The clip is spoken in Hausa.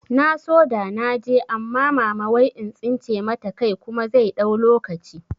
Na so da naje amma mama wai in tsince mata kai kuma zai ɗau lokaci